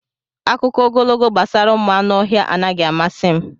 Akụkọ ogologo gbasara ụmụ anụ ọhịa anaghị amasị m.